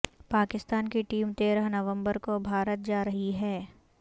پاکستان کی ٹیم تیرہ نومبر کو بھارت جا رہی ہے